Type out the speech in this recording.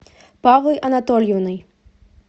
павлой анатольевной